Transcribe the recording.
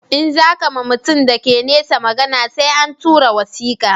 In za ka ma mutum da ke nesa magana sai an tura wasika